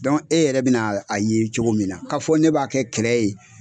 e yɛrɛ bɛ na a ye cogo min na k'a fɔ ne b'a kɛ kɛlɛ ye